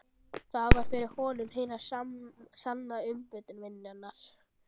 Það var fyrir honum hin sanna umbun vinnunnar.